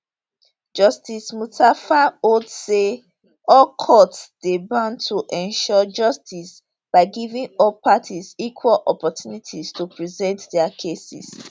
justice mustapha hold say all courts dey bound to ensure justice by giving all parties equal opportunities to present dia cases